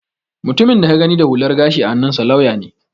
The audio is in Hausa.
Mutumin da ka gani da hular gashi a hannunsa lauya ne